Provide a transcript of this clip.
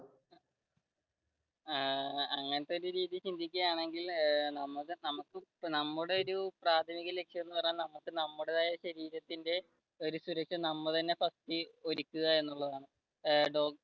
അങ്ങനത്തെ ഒരു രീതിയിൽ ചിന്തിക്കുക ആണെങ്കിൽ നമുക്ക് നമ്മുടെ ഒരു പ്രാഥമിക ലക്‌ഷ്യം എന്ന് പറഞ്ഞാൽ നമുക്ക് നമ്മുടേതായ ശരീരത്തിന്റെ